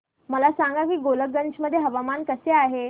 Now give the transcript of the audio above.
मला सांगा की गोलकगंज मध्ये हवामान कसे आहे